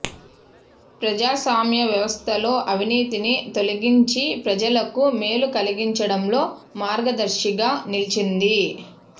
ప్రజాస్వామ్య వ్యవస్థలో అవినీతిని తొలగించి ప్రజలకు మేలు కలిగించడంలో మార్గదర్శిగా నిలిచింది